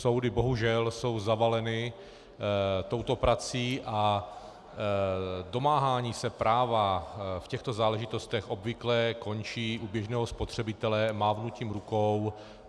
Soudy bohužel jsou zavaleny touto prací a domáhání se práva v těchto záležitostech obvykle končí u běžného spotřebitele mávnutím rukou.